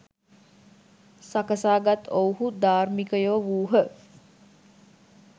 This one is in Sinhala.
සකසා ගත් ඔවුහු ධාර්මිකයෝ වූහ.